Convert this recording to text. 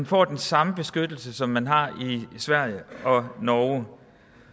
får den samme beskyttelse som man har i sverige og norge